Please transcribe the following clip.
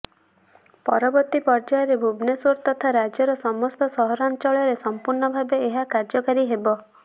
ପରବର୍ତ୍ତୀ ପର୍ଯ୍ୟାୟରେ ଭୁବନେଶ୍ୱର ତଥା ରାଜ୍ୟର ସମସ୍ତ ସହରାଞ୍ଚଳରେ ସମ୍ପୂର୍ଣ୍ଣ ଭାବେ ଏହା କାର୍ଯ୍ୟକାରୀ ହେବ